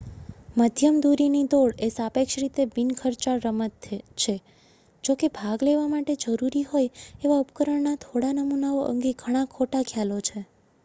મધ્યમ દૂરીની દોડ એ સાપેક્ષ રીતે બિન ખર્ચાળ રમત છે જો કે ભાગ લેવા માટે જરૂરી હોય એવા ઉપકરણના થોડા નમૂનાઓ અંગે ઘણા ખોટા ખ્યાલો છે